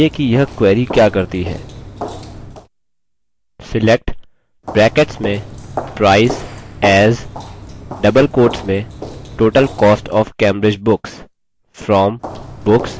4 समझाइये कि यह query क्या करती है